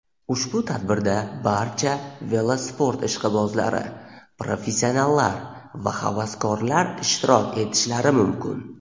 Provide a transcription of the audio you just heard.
Ushbu tadbirda barcha velosport ishqibozlari – professionallar va havaskorlar ishtirok etishlari mumkin.